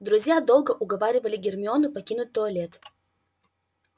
друзья долго уговаривали гермиону покинуть туалет